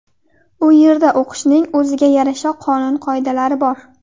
U yerda o‘qishning o‘ziga yarasha-qonun qoidalari bor.